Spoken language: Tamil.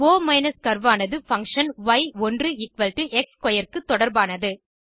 ஒ கர்வ் ஆனது பங்ஷன் y1x ஸ்க்வேர் க்கு தொடர்பானது